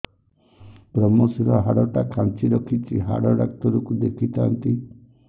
ଵ୍ରମଶିର ହାଡ଼ ଟା ଖାନ୍ଚି ରଖିଛି ହାଡ଼ ଡାକ୍ତର କୁ ଦେଖିଥାନ୍ତି